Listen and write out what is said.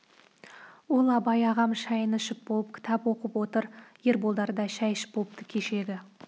ол абай ағам шайын ішіп болып кітап оқып отыр ерболдар да шай ішіп болыпты кешегі